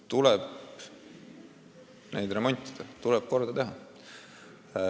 Tuleb niisuguseid maju remontida, tuleb need korda teha.